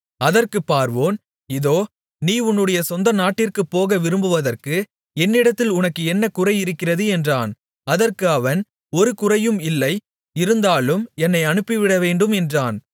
அதற்குப் பார்வோன் இதோ நீ உன்னுடைய சொந்தநாட்டிற்குப்போக விரும்புவதற்கு என்னிடத்தில் உனக்கு என்ன குறை இருக்கிறது என்றான் அதற்கு அவன் ஒரு குறையும் இல்லை இருந்தாலும் என்னை அனுப்பிவிடவேண்டும் என்றான்